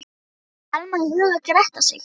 Honum datt Elma í hug og gretti sig.